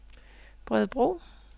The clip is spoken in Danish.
Bredebro